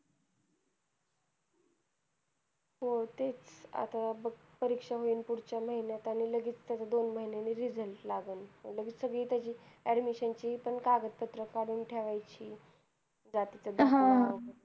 हो ते आता बघ, परीक्षा होईन पुढच्या महिन्यात. लगेच त्याचा दोन महिन्यांनी result लागल. लगेचं सगळी त्याची admission ची पण कागदपत्र काढून ठेवायची. जातीचा दाखला.